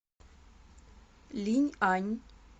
линьань